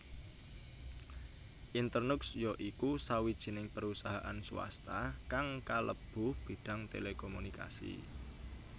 Internux ya iku sawijining perusahaan swasta kang kalebu bidang telekomunikasi